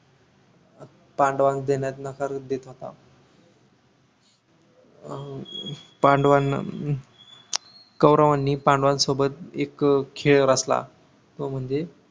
पांडवांना देण्यास नकार देत होता अह पांडवांना अं कौरवांनी पांडवांसोबतं एक खेळ रचला तो म्हणजे